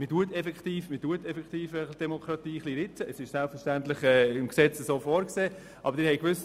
Die Demokratie wird effektiv ein wenig geritzt, wobei dies selbstverständlich im Gesetz so vorgesehen ist.